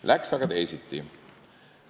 Läks aga teisiti.